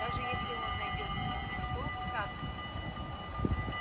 даже если он найдёт суку что он скажет ему